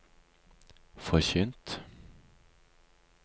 forkynt